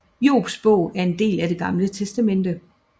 Jobs Bog er en del af Det Gamle Testamente